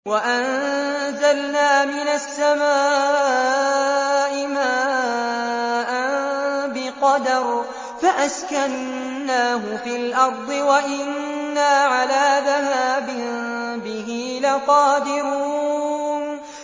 وَأَنزَلْنَا مِنَ السَّمَاءِ مَاءً بِقَدَرٍ فَأَسْكَنَّاهُ فِي الْأَرْضِ ۖ وَإِنَّا عَلَىٰ ذَهَابٍ بِهِ لَقَادِرُونَ